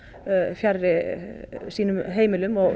fjarri sínum heimilum og